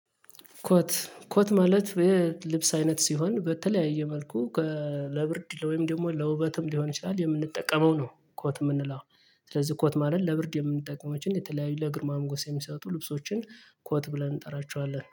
ኮት ኮት ማለት የልብስ አይነት ሲሆን በተለያየ መልኩ ለብርድ ወይም ደግሞ ለውበትም ሊሆን ይችላል የምንጠቀመው ነው። ኮት የምንለው ስለዚህ ኮት ማለት ለብርድ የምንጠቀማቸው የተለያዩ ለግርማ መጎስ የሚሰጡ ልብሶችን ኮት ብለን እንጠራቸዋለን